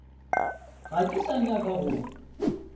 ga ke sa nyaka go